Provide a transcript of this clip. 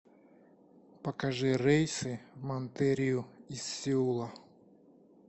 покажи рейсы в монтерию из сеула